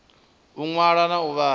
u ṅwala na u vhala